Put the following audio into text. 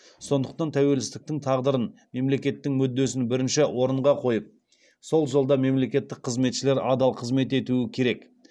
сондықтан тәуелсіздіктің тағдырын мемлекеттің мүддесін бірінші орынға қойып сол жолда мемлекеттік қызметшілер адал қызмет етуі керек